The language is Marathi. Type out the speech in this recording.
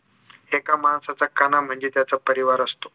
एका माणसाचा कणा म्हणजे त्याचा परिवार असतो